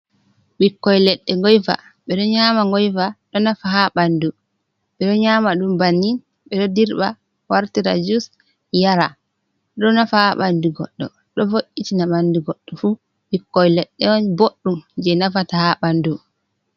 Ɓikkoi leɗɗe ngoyva, ɓeɗo nyama ngoyva ɗo nafa ha ɓandu. ɓeɗo nyama ɗum bannin ɓeɗo dirɓa wartira jus yara, ɗo nafa ha ɓandu goɗɗo ɗo vo’’itina ɓandu goɗɗo fu ɓikkoi leɗɗe on boddum je nafata ha ɓandu.